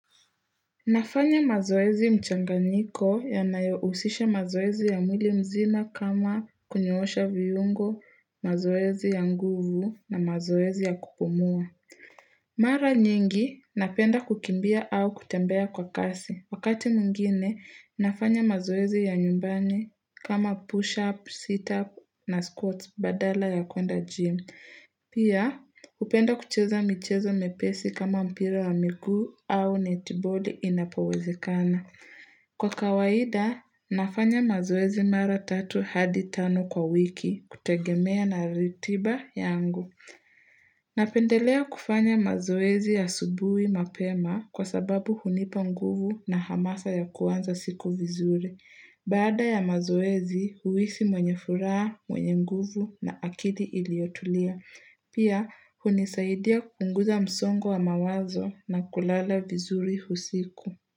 Nafanya mazoezi mchanganiko yanayousisha mazoezi ya mwili mzima kama kunyoosha viungo, mazoezi ya nguvu na mazoezi ya kupumua. Mara nyingi napenda kukimbia au kutembea kwa kasi. Wakati mwingine, nafanya mazoezi ya nyumbani kama push-up, sit-up na squats badala ya kuenda gym. Pia, hupenda kucheza michezo mepesi kama mpira wa miguu au netboard inapowezekana. Kwa kawaida, nafanya mazoezi mara tatu hadi tano kwa wiki kutegemea na ritiba yangu. Napendelea kufanya mazoezi ya asubui mapema kwa sababu hunipa nguvu na hamasa ya kuanza siku vizuri. Baada ya mazoezi, huhisi mwenye furaha, mwenye nguvu na akili iliotulia. Pia, hunisaidia kupunguza msongo wa mawazo na kulala vizuri usiku.